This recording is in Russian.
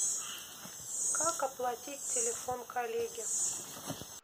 как оплатить телефон коллеги